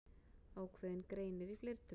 Ákveðinn greinir í fleirtölu.